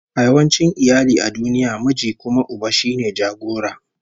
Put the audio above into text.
A yawancin iyali a duniya, miji kuma uba shine jagora